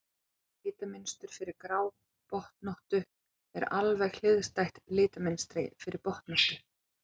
Litamynstur fyrir grábotnóttu er alveg hliðstætt litamynstri fyrir botnóttu.